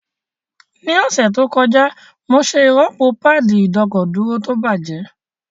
Ní ọ̀sẹ̀ tó kọjá, mo ṣe ìrọ́pò páàdì ìdọ́kọ̀dúró tó bàjẹ́